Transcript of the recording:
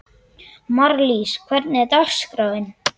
Marlís, hvernig er dagskráin?